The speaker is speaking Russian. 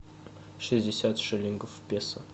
шестьдесят шиллингов в песо